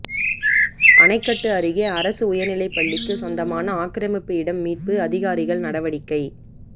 அணைக்கட்டு அருகே அரசு உயர்நிலைப்பள்ளிக்கு சொந்தமான ஆக்கிரமிப்பு இடம் மீட்பு அதிகாரிகள் நடவடிக்கை